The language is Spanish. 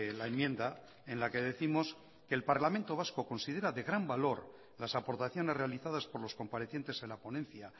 la enmienda en la que décimos que el parlamento vasco considera de gran valor las aportaciones realizadas por los comparecientes en la ponencia